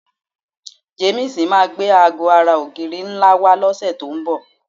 Jamiisi máa gbé aago ara ogiri nla wa ni òsè ti n bò